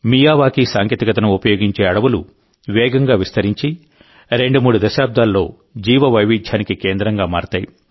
Miyawaki సాంకేతికతను ఉపయోగించే అడవులు వేగంగా విస్తరించి రెండు మూడు దశాబ్దాల్లో జీవవైవిధ్యానికి కేంద్రంగా మారతాయి